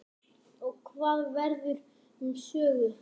Og hvað verður um Sögu?